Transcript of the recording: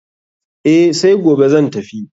Eh, sai gobe zan tafi.